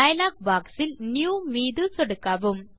dialogue boxஇல் new மீது சொடுக்கவும்